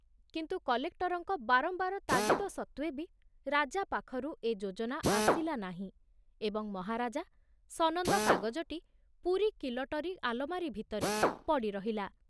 କିନ୍ତୁ କଲେକ୍ଟରଙ୍କ ବାରମ୍ବାର ତାଗିଦ ସତ୍ତ୍ବେ ବି ରାଜା ପାଖରୁ ଏ ଯୋଜନା ଆସିଲା ନାହିଁ ଏବଂ ମହାରାଜା ସନନ୍ଦ କାଗଜଟି ପୁରୀ କିଲଟରୀ ଆଲମାରୀ ଭିତରେ ପଡ଼ି ରହିଲା।